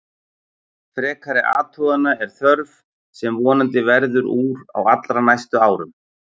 Frekari athugana er þörf sem vonandi verður úr á allra næstu árum.